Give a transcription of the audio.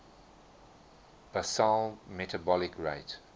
basal metabolic rate